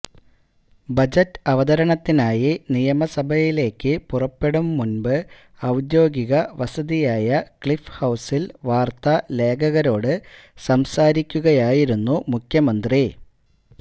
budget അവതരണത്തിനായി നിയമസഭയിലേക്ക് പുറപ്പെടും മുന്പ് ഔദ്യോഗിക വസതിയായ ക്ലിഫ് ഹൌസില് വാര്ത്താ ലേഖകരോട് സംസാരിക്കുകയായിരുന്നു മുഖ്യമന്ത്രി